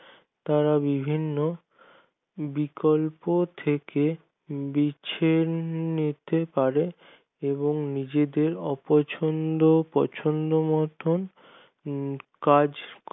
তারা বিভিন্ন বিকল্প থেকে বেছে নিতে পারে এবং নিজেদের পছন্দ অপছন্দ মতন কাজ